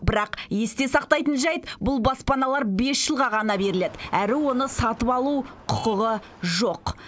бірақ есте сақтайтын жайт бұл баспаналар бес жылға ғана беріледі әрі оны сатып алу құқығы жоқ